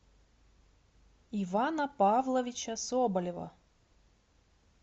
ивана павловича соболева